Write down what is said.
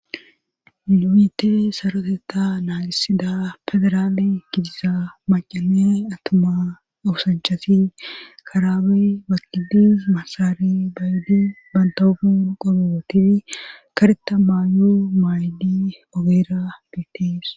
Na'u saroteta naagisida fedaraale gidiza macane atama awusanchasin karaabey baqidis masaari baydi bantaogur gobootidi kareta maayo maaydi ogeera getis.